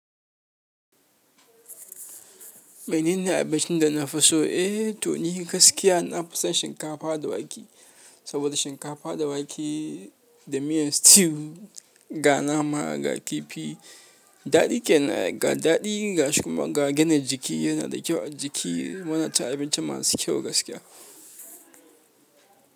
Wannene abincin da na fi so? Eh, to ni gaskiya na fi son shinkafa da wake. Saboda shinkafa da wake da miyan stew, ga nama, ga kifi daɗi kenan ai. Ga daɗi ga shikuma, ga gina jiki yana da kyau a jiki. Muna cin abinci masu kyau gaskiya.